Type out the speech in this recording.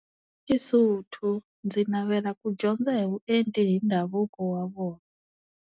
SeSotho ndzi navela ku dyondza hi vuenti hi ndhavuko wa vona.